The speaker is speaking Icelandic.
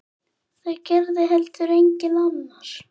Það gerði heldur enginn annar.